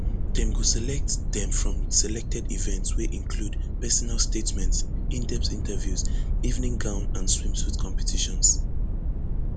dem go select dem from selected events wey include personal statements indepth interviews evening gown and swimsuit competitions